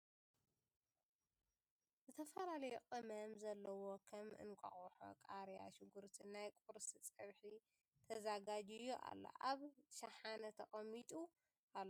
ዝተፈላለዩ ቅመም ዘሎዎ ከም እንቃቆሖ ፣ ቃርያ ፣ ሽጉርቲ ናይ ቁርሲ ፀብሒ ተዘጋጅዩ ኣሎ ። ኣብ ሽሓነ ተቀሚጡ ኣሎ ።